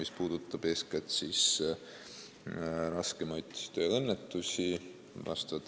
See puudutab eeskätt raskemaid tööõnnetusi.